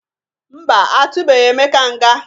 Mba, atụbeghi Emeka nga.